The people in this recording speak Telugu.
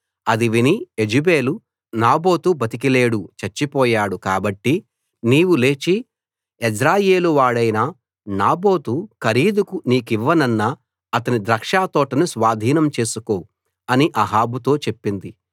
అది విని యెజెబెలు నాబోతు బతికి లేడు చచ్చిపోయాడు కాబట్టి నీవు లేచి యెజ్రెయేలు వాడైన నాబోతు ఖరీదుకు నీకివ్వనన్న అతని ద్రాక్షతోటను స్వాధీనం చేసుకో అని అహాబుతో చెప్పింది